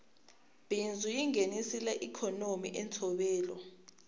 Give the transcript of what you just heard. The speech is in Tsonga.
bindzu yingenisela ikonomi ntsovelo